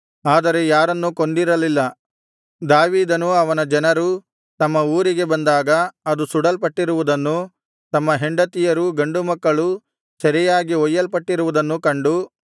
ಆದರೆ ಯಾರನ್ನೂ ಕೊಂದಿರಲಿಲ್ಲ ದಾವೀದನೂ ಅವನ ಜನರೂ ತಮ್ಮ ಊರಿಗೆ ಬಂದಾಗ ಅದು ಸುಡಲ್ಪಟ್ಟಿರುವುದನ್ನೂ ತಮ್ಮ ಹೆಂಡತಿಯರೂ ಗಂಡುಮಕ್ಕಳೂ ಸೆರೆಯಾಗಿ ಒಯ್ಯಲ್ಪಟ್ಟಿರುವುದನ್ನೂ ಕಂಡು